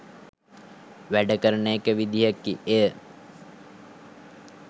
වැඩ කරන එක විදිහකි එය.